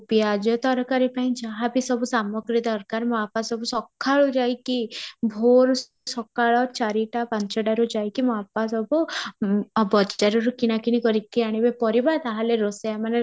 ପିଆଜ ତରକାରୀ ପାଇଁ ଯାହା ବି ସବୁ ସାମଗ୍ରୀ ଦରକାର ମୋ ବାପା ସବୁ ସକାଳୁ ଯାଇକି ଭୋର ସକାଳ ଚାରି ଟା ପାଞ୍ଚ ଟା ରୁ ଯାଇକି ମୋ ବାପା ସବୁ ଅଂ ବଜାରରୁ କିଣା କିଣି କରି କି ଆଣିବେ ପରିବା ତାହେଲେ ରୋଷେଆ ମାନେ